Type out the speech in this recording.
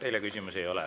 Teile küsimusi ei ole.